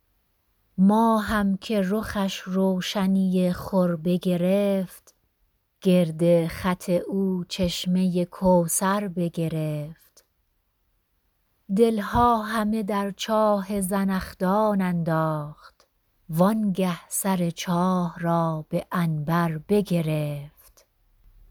ماهم که رخش روشنی خور بگرفت گرد خط او چشمه کوثر بگرفت دل ها همه در چاه زنخدان انداخت وآنگه سر چاه را به عنبر بگرفت